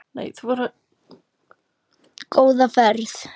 Góða ferð,